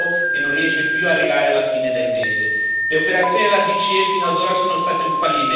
Quale significato date alla stabilità finanziaria se la gente non ha più un lavoro e non